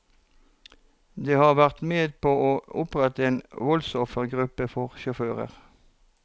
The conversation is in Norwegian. De har vært med på å opprette en voldsoffergruppe for sjåfører.